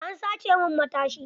An sace min matashi.